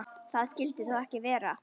Það skyldi þó ekki vera.